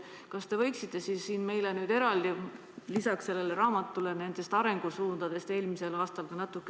Kas te võiksite meile lisaks sellele raamatule natuke rääkida ka arengusuundadest eelmisel aastal?